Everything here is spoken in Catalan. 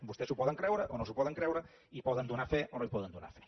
vostès s’ho poden creure o no s’ho poden creure i hi poden donar fe o no hi poden donar fe